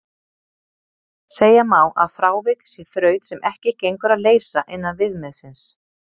Segja má að frávik sé þraut sem ekki gengur að leysa innan viðmiðsins.